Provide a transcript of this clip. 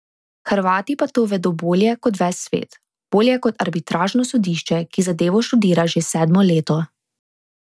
Hrvati pa to vedo bolje kot ves svet, bolje kot arbitražno sodišče, ki zadevo študira že sedmo leto.